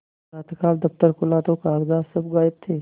प्रातःकाल दफ्तर खुला तो कागजात सब गायब थे